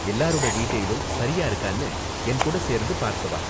எல்லாரோட டீடெயிலும் சரியா இருக்கானு என் கூட சேர்ந்து பார்க்க வா.